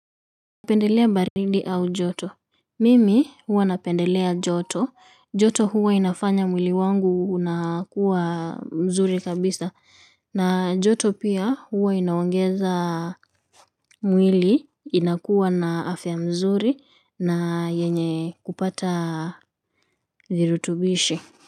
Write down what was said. Napendelea baridi au joto. Mimi huwa napendelea joto. Joto huwa inafanya mwili wangu unakuwa mzuri kabisa. Na joto pia huwa inaongeza mwili inakuwa na afya mzuri na yenye kupata virutubishi.